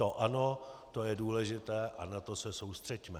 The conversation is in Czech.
To ano, to je důležité a na to se soustřeďme.